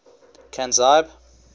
canzibe